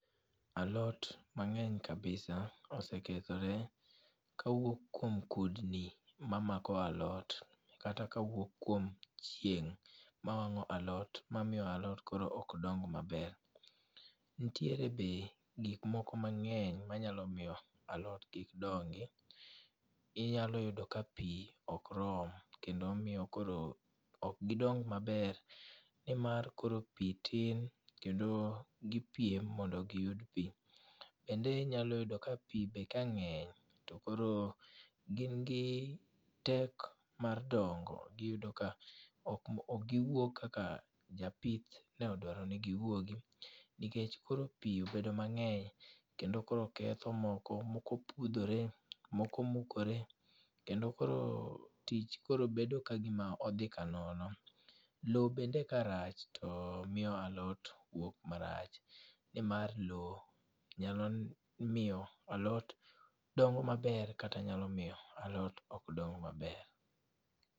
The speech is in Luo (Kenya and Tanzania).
Alot mang'eny kabisa osekethore kawuok kuom kudni mamako alot kata kawuok kuom chieng' ma wang'o alot mamiyo alot koro ok dong maber. Ntiere be gikmoko mang'eny manyalo miyo alot kik dongi. Inyalo yudo ka pi ok rom kendo miyo koro ok gidong maber nimar koro pi tin kendo gipiem mondo giyud pi. Kendo inyalo yudo ka pi be kang'eny to koro gin gi tek mar dongo giyudo ka okgiwuog kaka ne japith ne odwaro ni giwuogi nikech koro pi obedo mang'eny kendo koro ketho moko, moko pudhore, moko pukore kendo koro kendo koro tich koro bedo kagima odhi ka nono. Lowo bende ka rach to miyo alot wuok marach nimar lowo nyalo miyo alot dongo maber kata nyalo miyo alot ok dong maber.